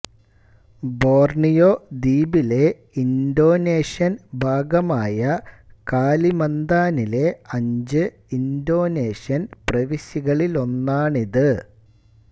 Borneo ദ്വീപിലെ Indonesian ഭാഗമായ കാലിമന്താനിലെ അഞ്ച് ഇന്തോനേഷ്യൻ പ്രവിശ്യകളിലൊന്നാണിത്